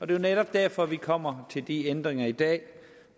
det er netop derfor vi kommer til de ændringer i dag